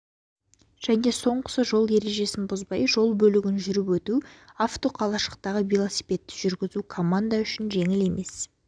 және соңғысы жол ережесін бұзбай жол бөлігін жүріп өту автоқалашықтағы велосипедті жүргізу команда үшін жеңіл емес